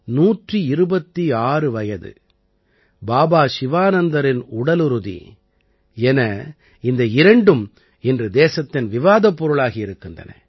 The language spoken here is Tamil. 126 வயது பாபா சிவானந்தரின் உடலுறுதி என இந்த இரண்டும் இன்று தேசத்தின் விவாதப் பொருளாகி இருக்கின்றன